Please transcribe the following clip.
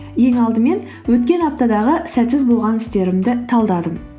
ең алдымен өткен аптадағы сәтсіз болған істерімді талдадым